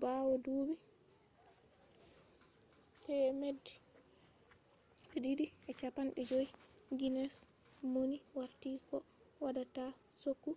bawo duubi 250 guinness mauni warti ko waddata choggu